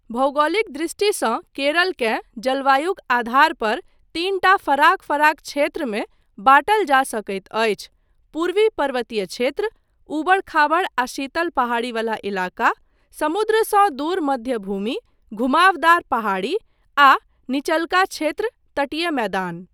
भौगोलिक दृष्टिसँ, केरलकेँ जलवायुक आधारपर तीनटा फराक फराक क्षेत्रमे बाँटल जा सकैत अछि, पूर्वी पर्वतीय क्षेत्र, ऊबड़ खाबड़ आ शीतल पहाड़ी वला इलाका, समुद्रसँ दूर मध्य भूमि, घुमावदार पहाड़ी आ निचलका क्षेत्र, तटीय मैदान।